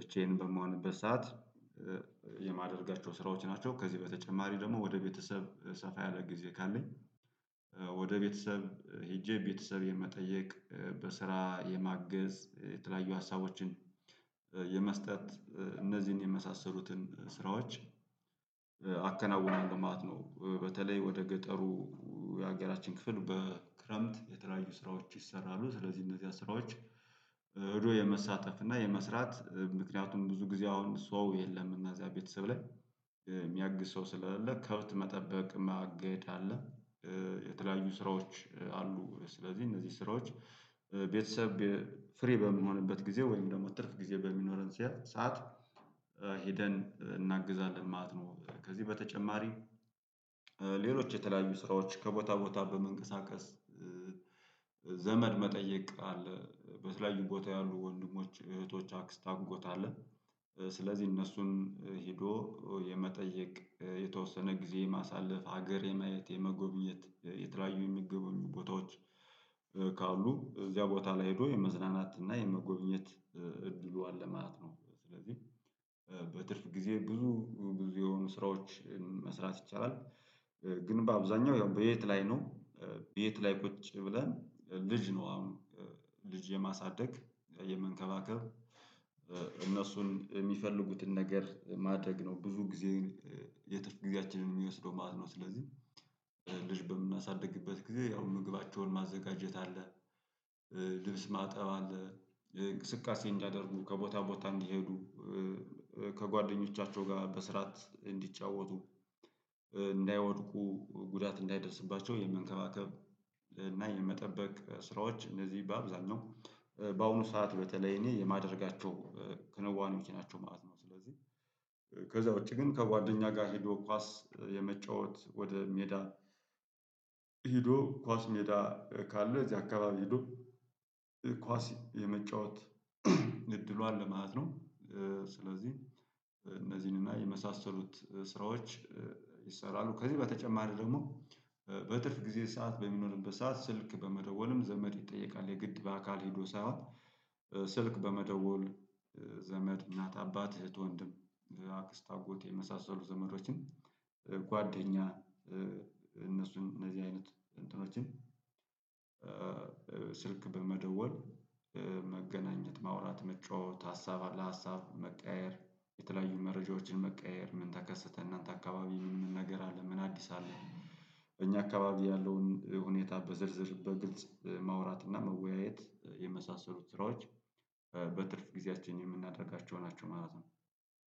ብቻዬን በመሆንበት ሰዓት የማደርጋቸው ስራዎች ናቸው። ከዚህ በተጨማሪ ደግሞ ወደ ቤተሰብ ሰፋ ያለ ጊዜ ካለኝ። ወደ ቤተሰብ ሄጄ ቤተሰብ የመጠየቅ በስራ የማገዝ የተለያዩ ሀሳቦችን የመስጠት እነዚህን የመሳሰሉትን ስራዎች አከናውናለው ማለት ነው። በተለይ ወደ ገጠሩ የሀገራችን ክፍል በክረምት የተለያዩ ስራዎች ይሰራሉ። ስለዚህ እነዚያ ስራዎች ሄዶ የመሳተፍ እና የመስራት ምክንያቱም ብዙ ጊዜ አሁን ሰው የለም እና እዛ ቤተሰብ ላይ የሚያግዝ ሰው ስለሌለ ከብት መጠበቅ ማገድ አለ። የተለያዩ ስራዎች አሉ። ስለዚህ እነዚህ ስራዎች ቤተሰብ ፍሪ በምንሆንበት ጊዜ ወይም ደግሞ ትርፍ ጊዜ በሚኖረን ሲያድ ሰዓት ሄደን እናግዛለን ማለት ነው። ከዚህ በተጨማሪ። ሌሎች የተለያዩ ስራዎች ከቦታ ቦታ በመንቀሳቀስ ዘመድ መጠየቅ አለ በተለያዩ ቦታ ያሉ ወንድሞች እህቶች አክስት አጎት አለ። ስለዚህ እነሱን ሄዶ የመጠየቅ የተወሰነ ጊዜ የማሳለፍ ሀገር የማየት የመጎብኘት የተለያዩ የሚጎበኙ ቦታዎች። ካሉ እዚያ ቦታ ላይ ሄዶ የመዝናናት እና የመጎብኘት አለ ማለት ነው። ስለዚህ በትርፍ ጊዜ ብዙ ብዙ የሆኑ ስራዎችን መስራት ይቻላል። ግን በአብዛኛው ያው በየት ላይ ነው። በየት ላይ ቁጭ ብለን ልጅ ነው አሁን ልጅ የማሳደግ የመንከባከብ እነሱን የሚፈልጉትን ነገር ማድረግ ነው። ብዙ ጊዜ የትርፍ ጊዜያችንን የሚወስደው ማለት ነው። ስለዚህ ልጅ በምናሳድግበት ጊዜ ያው ምግባቸውን ማዘጋጀት አለ። ልብስ ማጠብ አለ እንቅስቃሴ እንዲያደርጉ ከቦታ ቦታ እንዲሄዱ። ከጓደኞቻቸው ጋር በስርዓት እንዲጫወቱ። እንዳይወድቁ ጉዳት እንዳይደርስባቸው የመንከባከብ እና የመጠበቅ ስራዎች እነዚህ በአብዛኛው በአሁኑ ሰዓት በተለይ እኔ የማደርጋቸው ከንዋኔዎች ናቸው ማለት ነው። ስለዚህ ከዛ ውጪ ግን ከጓደኛ ጋር ሄዶ ኳስ የመጫወት ወደ ሜዳ ሄዶ ኳስ ሜዳ ካለ እዚያ አካባቢ ሄዶ ኳስ የመጫወት እድሉ አለ ማለት ነው። ስለዚህ እነዚህን እና የመሳሰሉት ስራዎች ይሰራሉ። ከዚህ በተጨማሪ ደግሞ በትርፍ ጊዜ ሰዓት በሚኖርበት ሰዓት ስልክ በመደወልም ዘመድ ይጠየቃል የግድ በአካል ሄዶ ሳይሆን። ስልክ በመደወል ዘመድ እናት አባት እህት ወንድም አክስት አጎት የመሳሰሉ ዘመዶችን። ጓደኛ እነሱን እነዚህ አይነት እንትኖችን። ስልክ በመደወል መገናኘት ማውራት መጫወት ሀሳብ ለሀሳብ መቀያየር የተለያዩ መረጃዎችን መቀያየር ምን ተከሰተ እናንተ አካባቢ ምን ነገር አለ ምን አዲስ አለ። እኛ አካባቢ ያለውን ሁኔታ በዝርዝር በግልጽ ማውራት እና መወያየት የመሳሰሉት ስራዎች በትርፍ ጊዜአችን የምናደርጋቸው ናቸው። ማለት ነው።